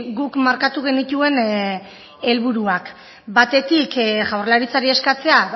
guk markatu genituen helburuak batetik jaurlaritzari eskatzea